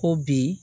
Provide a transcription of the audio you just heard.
Ko bi